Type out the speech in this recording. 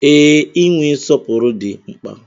Ee, inwe nsọpụrụ dị mkpa.